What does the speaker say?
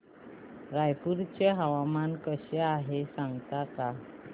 रायपूर चे हवामान कसे आहे सांगता का